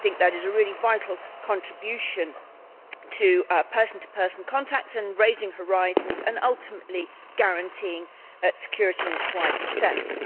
I think this is a really vital contribution to person to person contacts and to raising horizons and, ultimately, to guaranteeing security in its wider sense.